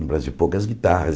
No Brasil, poucas guitarras.